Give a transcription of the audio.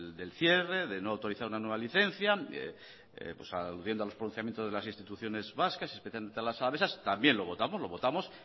del cierre de no autorizar una nueva licencia aludiendo a los pronunciamientos de las instituciones vascas especialmente a las alavesas también lo votamos lo votamos